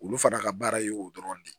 Olu fana ka baara ye o dɔrɔn de ye